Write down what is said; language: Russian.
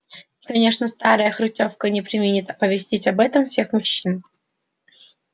и конечно старая хрычовка не преминет оповестить об этом всех мужчин